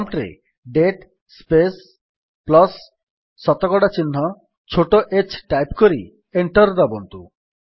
prompt ରେ date space plus ଶତକଡା ଚିହ୍ନ ଛୋଟ h ଟାଇପ୍ କରି ଏଣ୍ଟର୍ ଦାବନ୍ତୁ